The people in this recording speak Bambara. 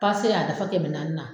y'a dafa kɛmɛ naani na.